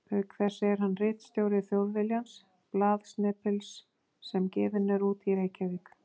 Auk þess er hann ritstjóri Þjóðviljans, blaðsnepils sem gefinn er út í Reykjavík.